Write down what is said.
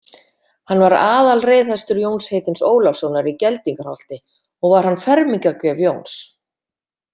Hann var aðalreiðhestur Jóns heitins Ólafssonar í Geldingaholti og var hann fermingargjöf Jóns.